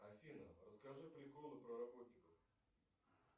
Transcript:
афина расскажи приколы про работников